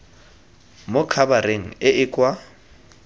mo khabareng e e kwa